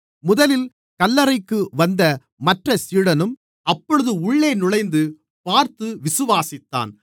முதலில் கல்லறைக்கு வந்த மற்ற சீடனும் அப்பொழுது உள்ளே நுழைந்து பார்த்து விசுவாசித்தான்